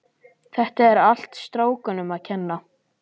Þetta er allt strákunum að kenna.